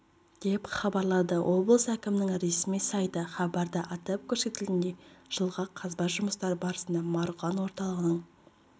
деп хабарлады облыс әкімінің ресми сайты хабарда атап көрсетілгендей жылғы қазба жұмыстары барысында марғұлан орталығының